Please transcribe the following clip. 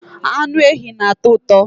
anụ ehi na-atọ ụtọ